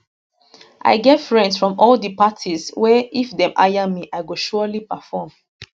i get friends from all di parties wey if dem hire me i go surely perform